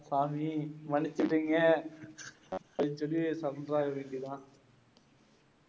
சாமி, மன்னிச்சிடுங்க. அப்படின்னு சொல்லி சமாளிக்கலாம்